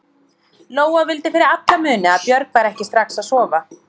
Lóa vildi fyrir alla muni að Björg færi ekki strax að sofa.